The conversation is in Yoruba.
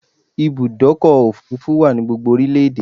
Ibùdọ́kọ̀ òfurufú wa ni gbogbo orílẹ̀ èdè